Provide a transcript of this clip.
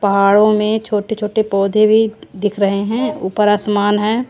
पहाड़ों में छोटे-छोटे पौधे भी दिख रहे हैं ऊपर आसमान है।